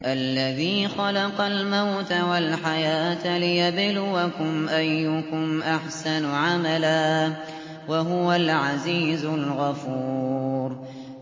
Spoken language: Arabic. الَّذِي خَلَقَ الْمَوْتَ وَالْحَيَاةَ لِيَبْلُوَكُمْ أَيُّكُمْ أَحْسَنُ عَمَلًا ۚ وَهُوَ الْعَزِيزُ الْغَفُورُ